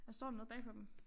Der står noget bagpå dem